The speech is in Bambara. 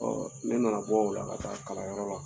ne nana bɔ o la ka taa kalanyɔrɔ la.